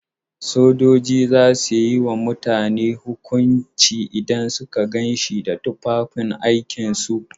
Sojoji za su yi ma mutum hukunci idan sun gan shi da tufafin aikin su.